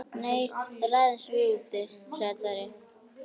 Nei, ræðumst við úti, sagði Daði.